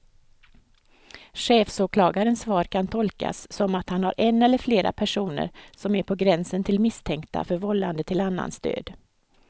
Chefsåklagarens svar kan tolkas som att han har en eller flera personer som är på gränsen till misstänkta för vållande till annans död.